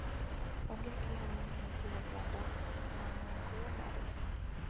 Onge kiawa ni nitie oganda mang'ongo mar ji.